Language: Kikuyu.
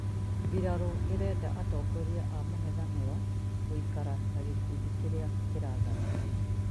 mbirarũ ĩrenda atongoria a mũng'ethanĩro gũikara ta gĩkundi kĩrĩa kĩrathana